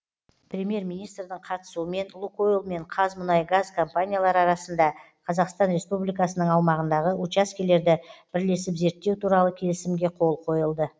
премьер министрдің қатысуымен лукойл мен қазмұнайгаз компаниялары арасында қазақстан республикасының аумағындағы учаскелерді бірлесіп зерттеу туралы келісімге қол қойылды